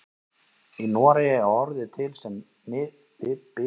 Í Noregi er orðið til sem viðurnefni frá miðöldum.